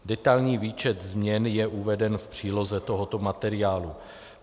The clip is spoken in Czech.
Detailní výčet změn je uveden v příloze tohoto materiálu.